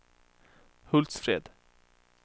Hultsfred